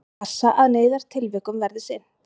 Og passa að neyðartilvikum verði sinnt